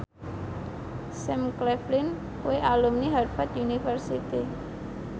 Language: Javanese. Sam Claflin kuwi alumni Harvard university